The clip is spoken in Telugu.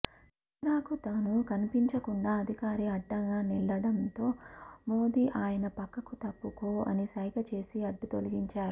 కెమెరాకు తను కనిపించకుండా అధికారి అడ్డంగా నిలడ్డంతో మోదీ ఆయన పక్కకు తప్పుకో అని సైగ చేసి అడ్డు తొలగించారు